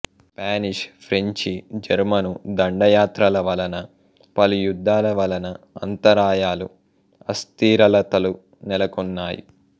Spanish French German దండయాత్రల వలన పలు యుద్ధాల వలన అంతరాయాలు అస్థిరలతలు నెలకొన్నాయి